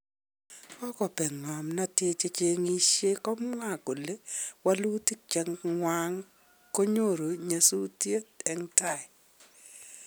Kokopegn kamnatet, chechegishen kokamwa kole walutik chechwang konyoru nyesutiet en taa